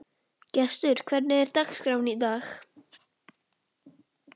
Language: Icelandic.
Gestur, hvernig er dagskráin í dag?